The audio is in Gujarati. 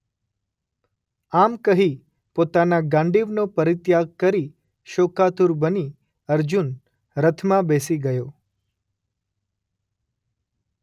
આમ કહી પોતાના ગાંડિવનો પરિત્યાગ કરી શોકાતુર બની અર્જુન રથમાં બેસી ગયો.